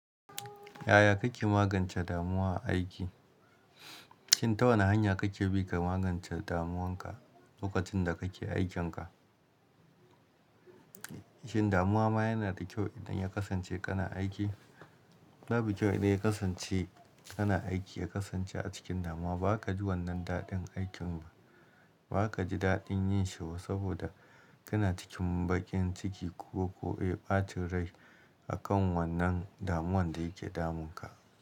Yaya kake magance damuwa a aiki? Shin ta wane hanya kake bi ka magance damuwanka lokacin da kake aikinka? Shin damuwa ma yana da kyau idan ya kasance kana aiki? Babu kyau idan ya kasance kana aiki, ya kasance a cikin damuwa ba wai ka ji wannan daɗin aikin ba. Ba ka ji daɗin yin shi ba saboda kana cikin baƙin ciki ko, ko, eh, ɓacin rai akan wannan damuwan da yake damunka.